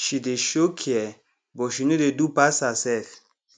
she dey show care but she no dey do pass herself